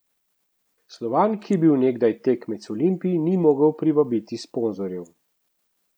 Slovan, ki je bil nekdaj tekmec Olimpiji, ni mogel privabiti sponzorjev ...